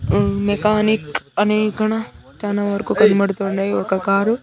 మ్మ్ mechanic అనే ఇక్కడ తన వరకు కనబడుతుండే ఒక కారు .